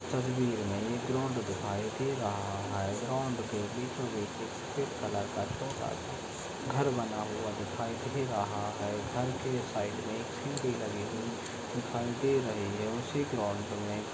तस्वीर में एक ग्रॉउंड दिखाई दे रहा है ग्रॉउंड के बीचो बीच एक सफ़ेद कलर का छोटा सा घर बना हुआ दिखाई दे रहा है घर के साइड में एक लगी हुए दिखाई दे रहे है। उसी ग्राउंड में --